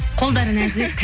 қолдары нәзік